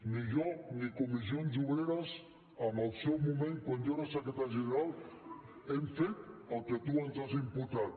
ni jo ni comissions obreres en el seu moment quan jo era secretari general hem fet el que tu ens has imputat